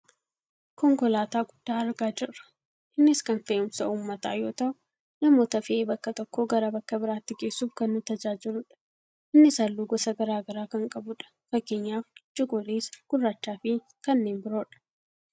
Konkolaataa guddaa argaa jirra. Innis kan fe'umsa uummataa yoo ta'u , namoota fe'ee bakka tokkoo gara bakka biraatti geessuuf kan nu tajaajiludha. Innis halluu gosa gara garaa kan qabudha. Fakkeenyaaf cuquliisa, gurraacha fi kanneen biroodha.